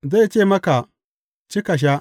Zai ce maka, Ci ka sha,